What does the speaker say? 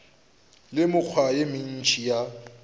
le mekgwa ye mentši ya